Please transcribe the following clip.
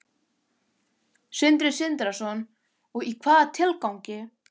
Sindri Sindrason: Og í hvaða tilgangi?